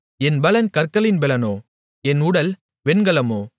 என் பெலன் கற்களின் பெலனோ என் உடல் வெண்கலமோ